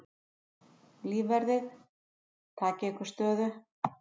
Lífverðir takið ykkur stöðu.